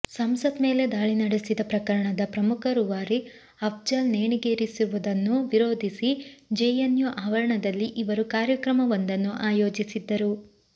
ಸಂಸತ್ ಮೇಲೆ ದಾಳಿ ನಡೆಸಿದ ಪ್ರಕರಣದ ಪ್ರಮುಖ ರೂವಾರಿ ಅಫ್ಜಲ್ ನೇಣಿಗೇರಿಸುವುದನ್ನು ವಿರೋಧಿಸಿ ಜೆಎನ್ಯು ಆವರಣದಲ್ಲಿ ಇವರು ಕಾರ್ಯಕ್ರಮವೊಂದನ್ನು ಆಯೋಜಿಸಿದ್ದರು